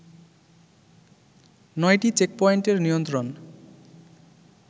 নয়টি চেকপয়েন্টের নিয়ন্ত্রণ